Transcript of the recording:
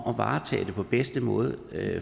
at varetage det på bedste måde